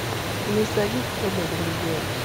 nisa gik tedo ring gweno